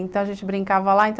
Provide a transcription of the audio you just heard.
Então, a gente brincava lá.